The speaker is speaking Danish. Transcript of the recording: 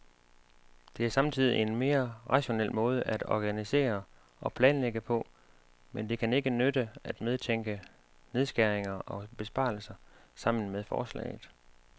Det er samtidig en mere rationel måde at organisere og planlægge på, men det kan ikke nytte at medtænke nedskæringer og besparelser sammen med forslaget.